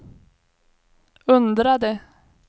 undrade